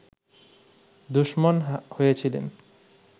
দুশমন হয়েছিলেন